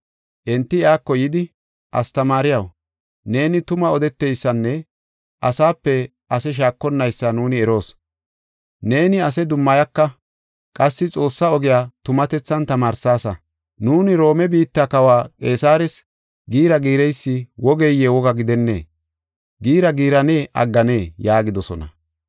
Enti iyako yidi, “Astamaariyaw, neeni tuma odeteysanne asape ase shaakonnaysa nuuni eroos. Neeni ase dummayaka; qassi Xoossaa ogiya tumatethan tamaarsaasa. Nuuni Roome biitta Kawa Qeesares giira giireysi wogeye woga gidennee? Giira giirane agganee?” yaagidosona.